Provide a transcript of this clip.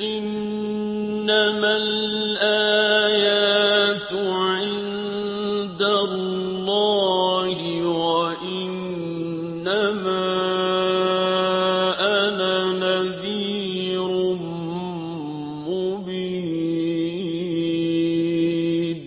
إِنَّمَا الْآيَاتُ عِندَ اللَّهِ وَإِنَّمَا أَنَا نَذِيرٌ مُّبِينٌ